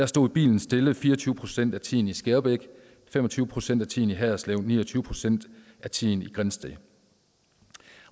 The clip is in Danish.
stod bilen stille fire og tyve procent af tiden i skærbæk fem og tyve procent af tiden i haderslev ni og tyve procent af tiden i grindsted